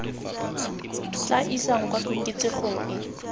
tla isang kwa koketsegong e